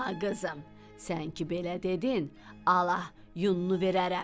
Ay qızım, sən ki belə dedin, alə, yununu verərəm.